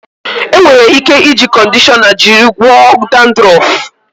E nwere ike iji kọndishọna jiri gwọọ dandrọf.